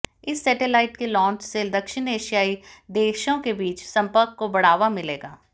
इस सेटेलाइट के लांच से दक्षिण एशियाई देशों के बीच संपर्क को बढ़ावा मिलेगा